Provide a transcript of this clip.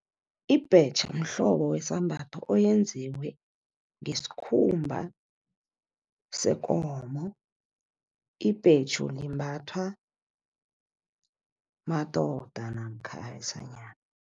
Ibhetjha mhlobo wesambatho, oyenziwe ngesikhumba sekomo. Ibhetjhu limbathwa madoda namkha abesanyana.